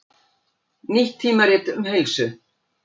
Nýtt tímarit um heilsu